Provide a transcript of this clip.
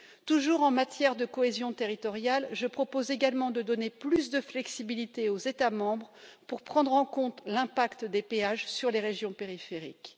Toujours en matière de cohésion territoriale, je propose également de donner plus de flexibilité aux États membres pour prendre en compte l'impact des péages sur les régions périphériques.